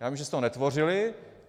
Já vím, že jste ho netvořili.